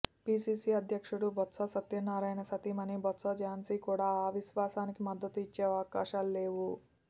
PCC అధ్యక్షుడు బొత్స సత్యనారాయణ సతీమణి బొత్స ఝాన్సీ కూడా అవిశ్వాసానికి మద్దతు ఇచ్చే అవకాశాలు లేవు